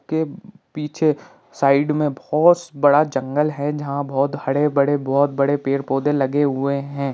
के पीछे साइड में बहुत बड़ा जंगल है जहां बहुत हरे भड़े बहुत बड़े पेड़ पौधे लगे हुए हैं।